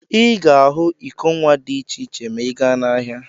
Ị ga ahụ iko nwa dị iche iche ma ị gaa n'ahịa.